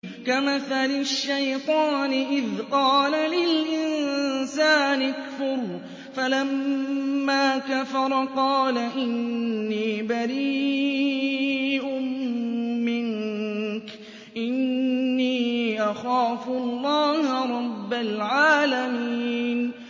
كَمَثَلِ الشَّيْطَانِ إِذْ قَالَ لِلْإِنسَانِ اكْفُرْ فَلَمَّا كَفَرَ قَالَ إِنِّي بَرِيءٌ مِّنكَ إِنِّي أَخَافُ اللَّهَ رَبَّ الْعَالَمِينَ